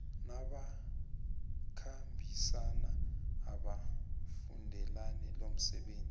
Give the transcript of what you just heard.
nabakhambisani abafundele lomsebenzi